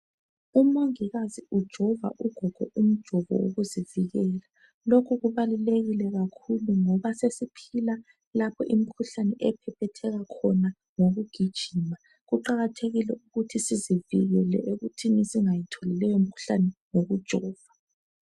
Umongikazi ujova ugogo umjovo wokuzivikela lokhu kubalulekile kakhulu ngoba sesiphila lapho imikhuhlane ephephetheka khona ngokugijima kuqakathekile ukuthi sizivikela ekuthini singayitholi leyomikhuhlane ngokujova.